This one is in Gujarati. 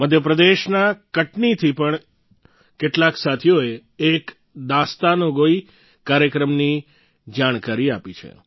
મધ્યપ્રદેશના કટનીથી પણ કેટલાક સાથીઓએ એક દાસ્તાનગોઈ કાર્યક્રમની જાણકારી આપી છે